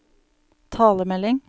talemelding